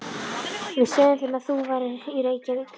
Við sögðum þeim að þú værir í Reykjavík.